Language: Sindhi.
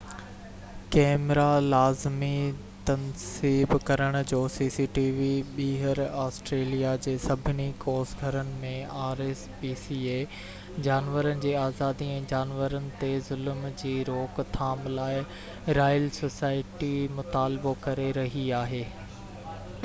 جانورن جي آزادي ۽ جانورن تي ظلم جي روڪ ٿام لاءِ رائل سوسائٽي rspca ٻيهر آسٽريليا جي سڀني ڪوس گھرن ۾ cctv ڪئميرا لازمي تنصيب ڪرڻ جو مطالبو ڪري رهي آهي